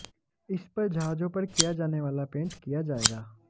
इस पर जहाजों पर किया जाने वाला पेंट किया जाएगा